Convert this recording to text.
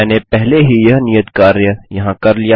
मैंने पहले ही यह नियत कार्य यहाँ कर लिया है